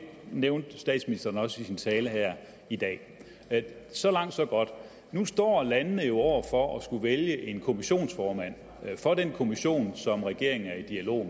nævnte statsministeren også i sin tale her i dag så langt så godt nu står landene jo over for at skulle vælge en kommissionsformand for den kommission som regeringen er i dialog